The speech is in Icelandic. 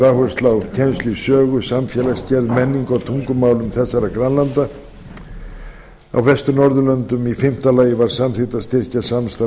áhersla á kennslu í sögu samfélagsgerð menningu og tungumálum grannlanda á vestur norðurlöndum í fimmta lagi var samþykkt að styrkja samstarf og